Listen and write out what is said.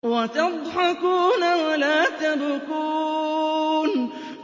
وَتَضْحَكُونَ وَلَا تَبْكُونَ